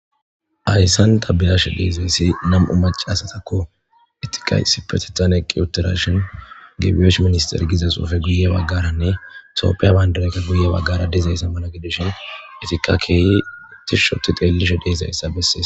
Ayssan tabilashe deezeyssi nam7u maca asatakko etika sipetetan eqqi uttirashin gebiyosh minister giza xuufe guye baggaranne soopiya bayndareyka guye baggara deezayssammana gidushin efika keeyi utish shoti teellishe deezayssa Bessie's